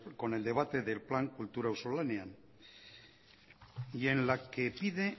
con el debate del plan kultura auzolanean y en la que pide